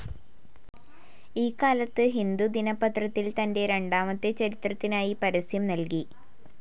ഈ കാലത്ത് ഹിന്ദു ദിനപത്രത്തിൽ തന്റെ രണ്ടാമത്തെ ചിത്രത്തിനായി പരസ്യം നൽകി.